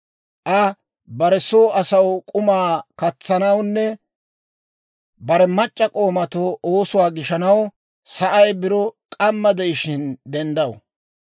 Aa bare soo asaw k'umaa katsanawunne bare mac'c'a k'oomatoo oosuwaa gishanaw, sa'ay biro k'amma de'ishiina denddaw.